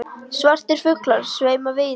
Svartir fuglar sveima víða.